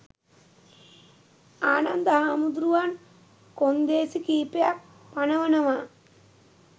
ආනන්ද හාමුදුරුවන් කොන්දේසි කිහිපයක් පනවනවා.